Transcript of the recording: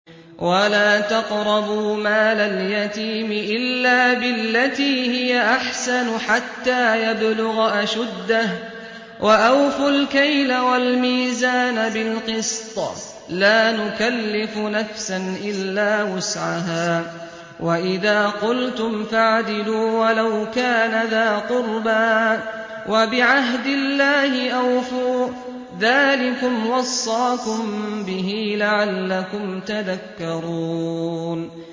وَلَا تَقْرَبُوا مَالَ الْيَتِيمِ إِلَّا بِالَّتِي هِيَ أَحْسَنُ حَتَّىٰ يَبْلُغَ أَشُدَّهُ ۖ وَأَوْفُوا الْكَيْلَ وَالْمِيزَانَ بِالْقِسْطِ ۖ لَا نُكَلِّفُ نَفْسًا إِلَّا وُسْعَهَا ۖ وَإِذَا قُلْتُمْ فَاعْدِلُوا وَلَوْ كَانَ ذَا قُرْبَىٰ ۖ وَبِعَهْدِ اللَّهِ أَوْفُوا ۚ ذَٰلِكُمْ وَصَّاكُم بِهِ لَعَلَّكُمْ تَذَكَّرُونَ